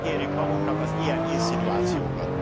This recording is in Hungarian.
Kikérjük magunknak az ilyen inszinuációkat.